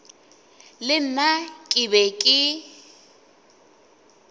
le nna ke be ke